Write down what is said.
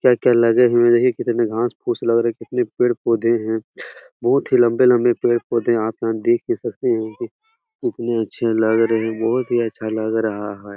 क्या-क्या लगे हुए हैं कितने घास-फूस लग रहे हैं कितने पेड़-पौधे हैं बहुत ही लम्बे-लम्बे पेड़-पौधे हैं यहाँ पे आप देख भी सकते हैं कितने अच्छा लग रहे हैं बहुत ही अच्छा लग रहा है ।